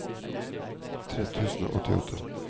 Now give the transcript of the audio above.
tre tusen og åttiåtte